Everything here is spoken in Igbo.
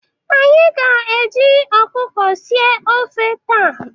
Anyị ga-eji ọkụkọ sie ofe taa.